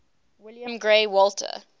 william grey walter